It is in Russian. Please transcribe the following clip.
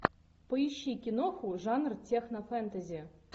поищи киноху жанр техно фэнтези